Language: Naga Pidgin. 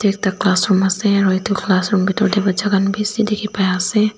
eta classroom ase aro etu classroom bitor te batcha khan bishi dekhi pai ase.